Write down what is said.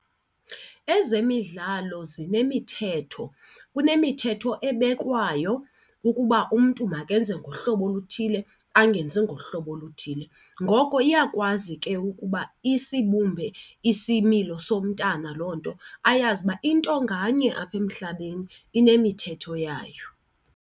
Ezemidlalo zinemithetho. Kunemithetho ebekwayo ukuba umntu makenze ngohlobo oluthile angenzi ngohlobo oluthile, ngoko iyakwazi ke ukuba isibumbe isimilo somntana loo nto ayazi ukuba into nganye apha emhlabeni inemithetho yayo.